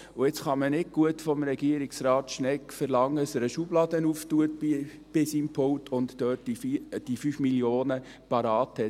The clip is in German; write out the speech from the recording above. Jetzt kann man nicht gut von Regierungsrat Schnegg verlangen, dass er eine Schublade seines Pultes öffnet und dort die 5 Mio. Franken parat hat.